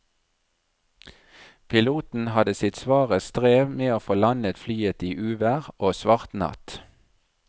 Piloten hadde sitt svare strev med å få landet flyet i uvær og svart natt.